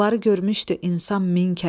Bunları görmüşdü insan min kərə.